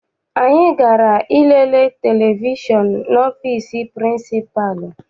Anyị gara I lele televishọn n'ọfịịsi pịrịnsịpalụ.